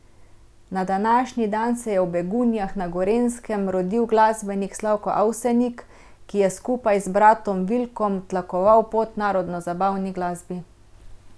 Na današnji dan se je v Begunjah na Gorenjskem rodil glasbenik Slavko Avsenik, ki je skupaj z bratom Vilkom tlakoval pot narodnozabavni glasbi.